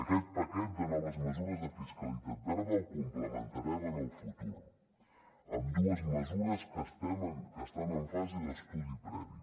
aquest paquet de noves mesures de fiscalitat verda el complementarem en el futur amb dues mesures que estan en fase d’estudi previ